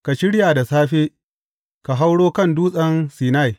Ka shirya da safe, ka hauro kan Dutsen Sinai.